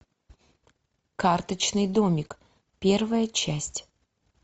карточный домик первая часть